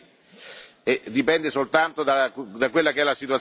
Dipende soltanto da quella che è la situazione dell'Aula.